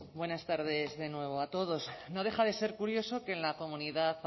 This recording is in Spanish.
buenas tardes de nuevo a todos no deja de ser curioso que en la comunidad